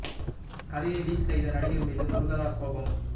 கதையை லீக் செய்த நடிகர் மீது முருகதாஸ் கோபம்